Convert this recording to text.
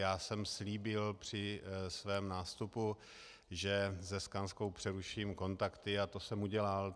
Já jsem slíbil při svém nástupu, že se Skanskou přeruším kontakty, a to jsem udělal.